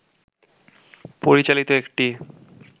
পরিচালিত একটি